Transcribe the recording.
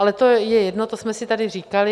Ale to je jedno, to jsme si tady říkali.